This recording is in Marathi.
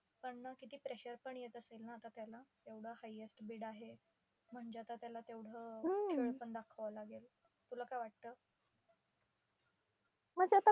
पण न किती pressure पण येत असेल ना आता त्याला, एवढं highest bid आहे. म्हणजे आता त्याला तेवढं अं खेळ पण दाखवावं लागेल. तुला काय वाटतं?